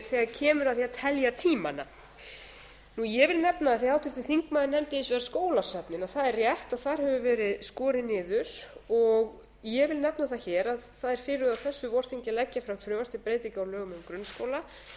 þegar kemur að því að telja tíma ég vil nefna af því háttvirtur þingmaður nefndi hins vegar skólasöfnin það er rétt að þar hefur verið skorið niður ég vil nefna það hér að það er fyrirhugað á þessu vorþingi að leggja fram frumvarp til breytinga á lögum um grunnskóla